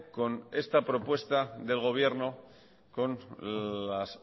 con esta propuesta del gobierno con las